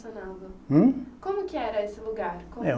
Hum? Como que era esse lugar? Como é